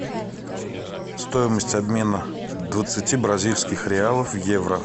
стоимость обмена двадцати бразильских реалов в евро